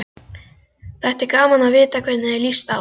Þætti gaman að vita hvernig þér líst á þetta?